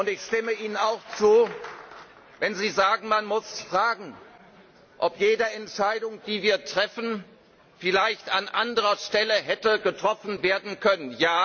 Ich stimme Ihnen auch zu, wenn Sie sagen, dass man fragen muss, ob jede Entscheidung, die wir treffen, vielleicht an anderer Stelle hätte getroffen werden können.